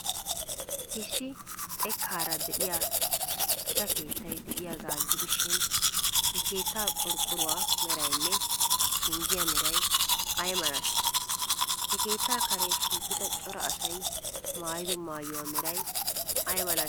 Issi xekkaara de'iya gita keettay de'iyaagaa gidishin, he keettaa qorqqoruwaa meraynne penggiya meray ay malatii? He keettaa Karen shiiqida cora asay maayido maayuwa meray ay malatii?